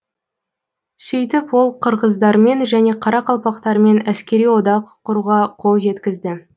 сөйтіп ол қырғыздармен және қарақалпақтармен әскери одақ құруға қол жеткізді